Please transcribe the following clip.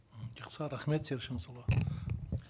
м жақсы рахмет серік шыңғысұлы